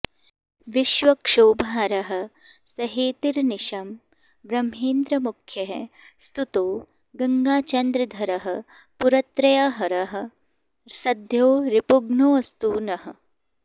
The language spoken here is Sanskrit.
विश्वक्षोभहरः सहेतिरनिशं ब्रह्मेन्द्रमुख्यैः स्तुतो गङ्गाचन्द्रधरः पुरत्रयहरः सद्यो रिपुघ्नोऽस्तु नः